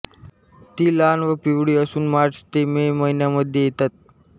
ती लहान व पिवळी असून मार्च ते मे महिन्यांमध्ये येतात